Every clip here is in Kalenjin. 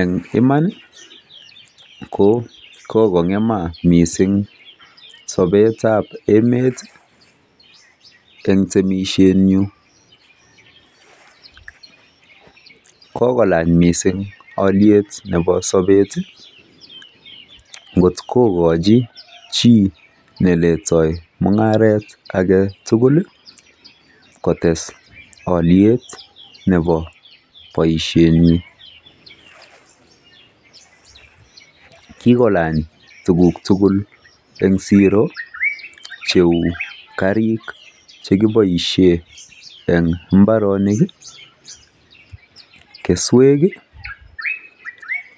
Eng iman ko kokong' ma mising sobeab emet eng temishjet nyu. Kokolany mising aliet nebo sobet ng'otko kochi chii neletoi mung'aret kotes aliet nebo boishenyi. Kikolany tukuk tugul eng siro cheu karik chekiboishe eng mbarenik, keswek,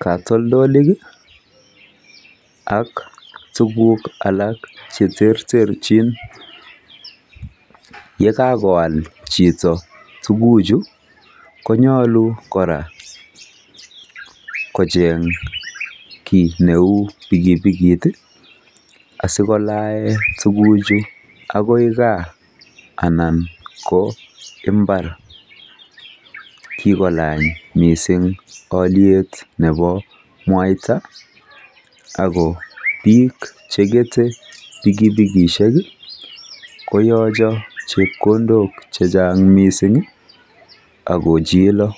katotolik ak tukuk alak che terterchin. Yekakoal chito tukuchu konyalu kocheny kiy neu pikipikit asikolae tukuchu agoi gaa anan ko mbar. kikolany mising mwanik ako biik cheketei pikipikit koyacho chepkondok chechang mising ako chila.